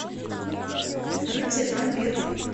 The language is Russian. рыцарь вампир